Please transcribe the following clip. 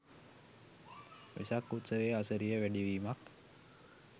වෙසක් උත්සවයේ අසිරිය වැඩි වීමක්